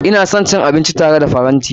Ina son cin abinci tare akan tray.